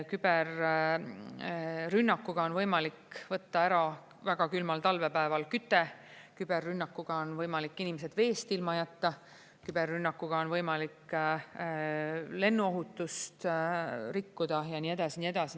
Küberrünnakuga on võimalik võtta ära väga külmal talvepäeval küte, küberrünnakuga on võimalik inimesed veest ilma jätta, küberrünnakuga on võimalik lennuohutust rikkuda ja nii edasi ja nii edasi.